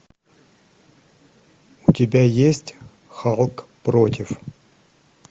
у тебя есть халк против